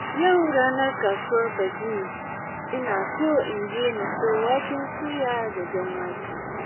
Yau ranar kasuwar Badime, ina son in je na sayo waken soya da jan wake.